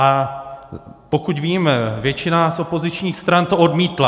A pokud vím, většina z opozičních stran to odmítla.